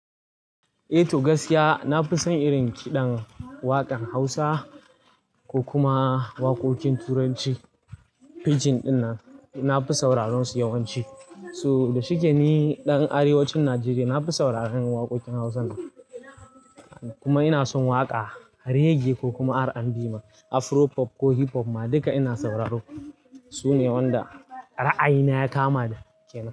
Eh to gaskiya na fi son irin kiɗan waƙan hausa ko kuma waƙoƙin turanci. Pageing dinnan na fi sauraron su yawanci. So da shike ni ɗan arewacin Najeriya, na fi sauraron waƙoƙin hausa kuma ina son waƙa reggae ko kuma R&B ma Afro pop ko hip hop ma duka ina sauraro. Sune wanda ra'ayina ya kama da.